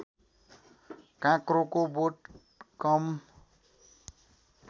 काँक्रोको बोट कम